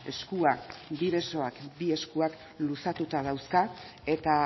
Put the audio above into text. eskua bi besoak bi eskuak luzatuta dauzka eta